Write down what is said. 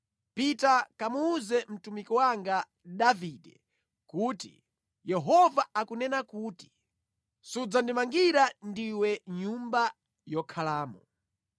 “Pita kamuwuze mtumiki wanga Davide kuti, ‘Yehova akunena kuti, sudzandimangira ndiwe nyumba yokhalamo.’